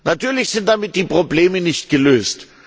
Natürlich sind damit die Probleme nicht gelöst.